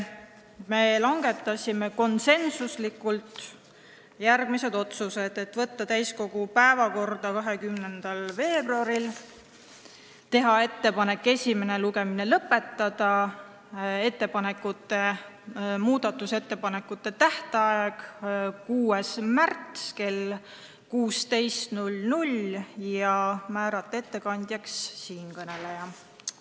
Me langetasime konsensuslikult järgmised otsused: saata eelnõu täiskogu päevakorda 20. veebruariks, teha ettepanek esimene lugemine lõpetada, teha ettepanek määrata muudatusettepanekute esitamise tähtajaks 6. märts kell 16 ja määrata ettekandjaks siinkõneleja.